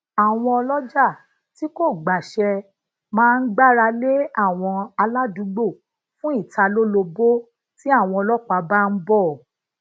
àwọn oloja ti ko gbase maa gbáralé àwọn aladuugbo fun italolobo ti àwọn ọlọpàá ba n bo